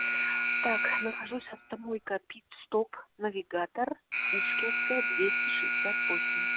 так нахожусь автомойка питстоп навигатор пушкинская двести шестьдесят восемь